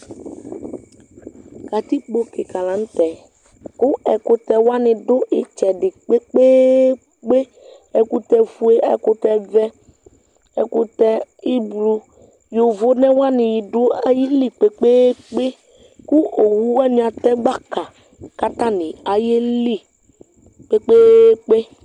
Katikpo kika la nʋ tɛ kʋ ɛkʋtɛ wani dʋ itsɛdi kpekpeekpe Ɛkʋtɛ fue, ɛkʋtɛ vɛ, ɛkʋtɛ ʋblʋɔ Yovo ne wani dʋ ayili kpekpeekpe kʋ owʋ wani atɛ gbaka, kʋ atani ayeli kpekpeekpe